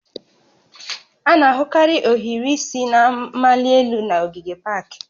A na-ahụkarị ohiri isi na-amali elu n'ogige pak